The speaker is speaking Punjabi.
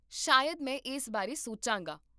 ਸ਼ਾਇਦ ਮੈਂ ਇਸ ਬਾਰੇ ਸੋਚਾਂਗਾ